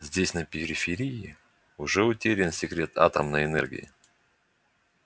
здесь на периферии уже утерян секрет атомной энергии